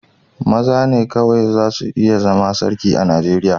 Maza ne kawai za su iya zama Sarki a Nigeriya.